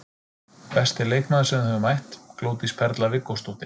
Besti leikmaður sem þú hefur mætt: Glódís Perla Viggósdóttir.